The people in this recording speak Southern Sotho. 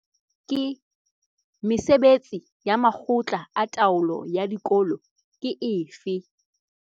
Mesebetsi ya makgotla a taolo ya dikolo ke efe?